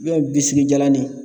jalannin